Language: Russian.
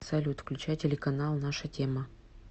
салют включай телеканал наша тема